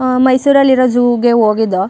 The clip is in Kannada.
ಆ ಮೈಸೂರಲ್ಲಿ ಇರೋ ಜೂ ಗೆ ಹೋಗಿದ್ದೋ --